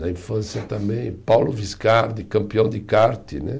Na infância também, Paulo Viscardi, campeão de kart, né?